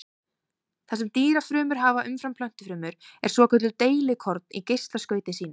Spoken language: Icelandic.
Það sem dýrafrumur hafa umfram plöntufrumur eru svokölluð deilikorn í geislaskauti sínu.